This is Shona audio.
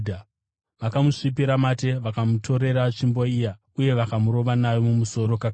Vakamusvipira mate vakamutorera tsvimbo iya uye vakamurova nayo mumusoro kakawanda.